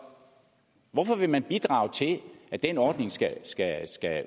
hvorfor vil man bidrage til at den ordning skal